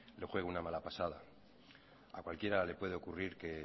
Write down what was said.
le juegue una mala pasada a cualquiera le puede ocurrir que